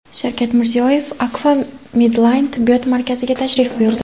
Shavkat Mirziyoyev Akfa Medline tibbiyot markaziga tashrif buyurdi.